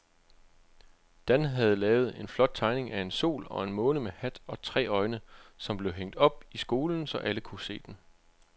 Dan havde lavet en flot tegning af en sol og en måne med hat og tre øjne, som blev hængt op i skolen, så alle kunne se den.